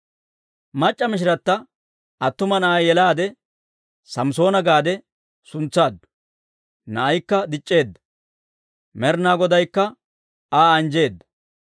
Mac'c'a mishirata attuma na'aa yelaade Samssoona gaade suntsaaddu. Na'aykka dic'c'eedda; Med'inaa Godaykka Aa anjjeedda.